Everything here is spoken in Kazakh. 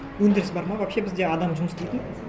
өндіріс бар ма вообще бізде адам жұмыс істейтін